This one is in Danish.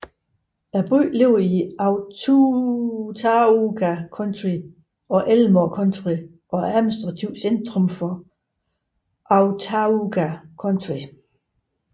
Byen ligger i Autauga County og Elmore County og er administrativt centrum for Autauga County